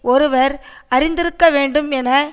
ஒருவர் அறிந்திருக்க வேண்டும் என